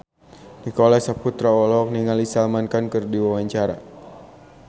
Nicholas Saputra olohok ningali Salman Khan keur diwawancara